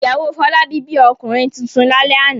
Ìyàwó Fọlábí bí ọmọkùnrin tuntun lálẹ́ àná.